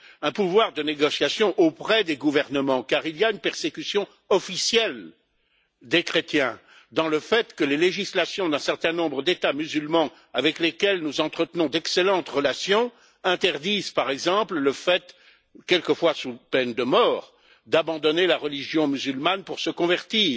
Un pouvoir de négociation auprès des gouvernements car il y a une persécution officielle des chrétiens dans le fait que les législations d'un certain nombre d'États musulmans, avec lesquels nous entretenons d'excellentes relations, interdisent, par exemple, le fait, quelquefois sous peine de mort, d'abandonner la religion musulmane pour se convertir